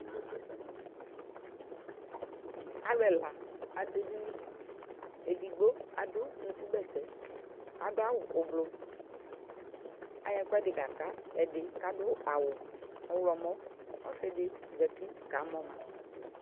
Alʋ ɛla adʋ edini Edigbo adʋ unukubɛtɛ, adʋ awʋ ʋblʋ Ayɔ ɛkʋɛdɩ kaka ɛdɩ kʋ adʋ awʋ ɔɣlɔmɔ Ɔsɩ dɩ zati kamɔ ma